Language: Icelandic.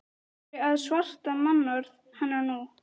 Af hverju að sverta mannorð hennar nú?